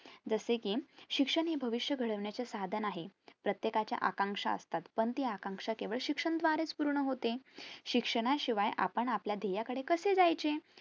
जसे कि शिक्षण हे भविष्य घडविण्याचे साधन आहे प्रत्येकाच्या आकांशा असतात पण ती आकांशा केवळ शिक्षणद्वारे पूर्ण च होते शिक्षणाशिवाय आपण आपल्या ध्येयाकडे कसे जायचे